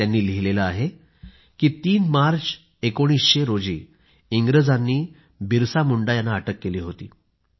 त्यांनी लिहिलेलं आहे की 3 मार्च 1900 रोजी इंग्रजांनी बिरसा मुंडा यांना अटक केली होती